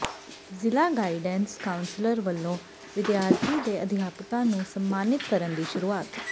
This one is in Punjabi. ਜ਼ਿਲ੍ਹਾ ਗਾਈਡੈਂਸ ਕਾਊਾਸਲਰ ਵਲੋਂ ਵਿਦਿਆਰਥੀਆਂ ਤੇ ਅਧਿਆਪਕਾਂ ਨੰੂ ਸਨਮਾਨਿਤ ਕਰਨ ਦੀ ਸ਼ੁਰੂਆਤ